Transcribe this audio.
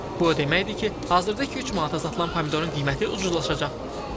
Bu o deməkdir ki, hazırda 2-3 manata satılan pomidorun qiyməti ucuzlaşacaq.